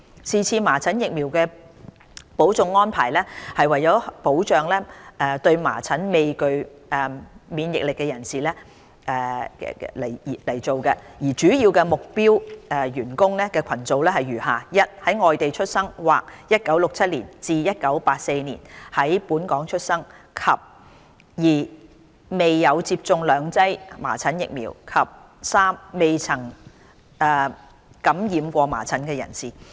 是次麻疹疫苗補種安排是為了保障對麻疹未具備免疫力的人士，主要目標員工群組如下： 1在外地出生或1967年至1984年在本港出生；及2沒有接種兩劑麻疹疫苗；及3未曾感染過麻疹的人士。